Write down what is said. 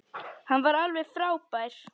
Hann er alveg frábær.